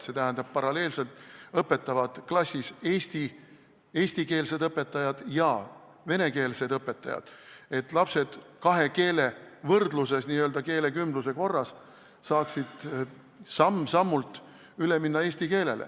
See tähendab, et paralleelselt õpetavad klassis eestikeelsed õpetajad ja venekeelsed õpetajad, et lapsed kahe keele võrdluses, n-ö keelekümbluse korras saaksid samm-sammult üle minna eesti keelele.